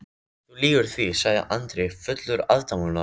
Þú lýgur því, sagði Andri fullur aðdáunar.